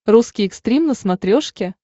русский экстрим на смотрешке